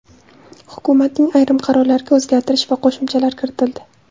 Hukumatning ayrim qarorlariga o‘zgartirish va qo‘shimchalar kiritildi .